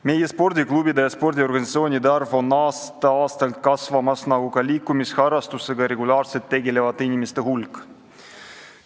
Meie spordiklubide ja spordiorganisatsioonide arv kasvab aasta-aastalt nagu ka liikumisharrastusega regulaarselt tegelevate inimeste hulk.